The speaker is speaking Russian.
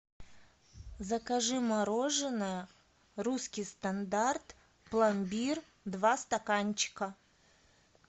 закажи мороженое русский стандарт пломбир два стаканчика